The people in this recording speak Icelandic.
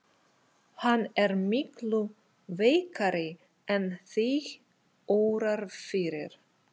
Hann er miklu veikari en þig órar fyrir.